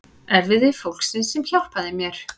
Erfiði fólksins sem hjálpaði mér.